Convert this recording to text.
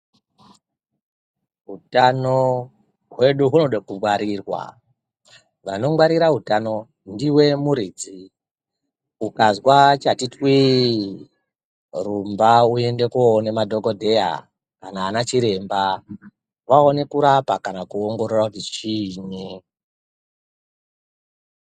Utano hwedu hunode kungwarirwa, vanongwarira utano ndiwe muridzi ukazwa chati twiii rumba uende koone madhogodheya kana ana chiremba vaone kurapa kana kuongorora kuti chiini.